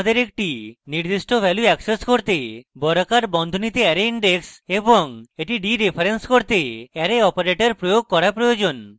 আমাদের একটি নির্দিষ্ট value অ্যাক্সেস করতে বর্গাকার বন্ধনীতে অ্যারে index এবং এটি ডিরেফারেন্স করতে arrow operator> প্রয়োগ করা প্রয়োজন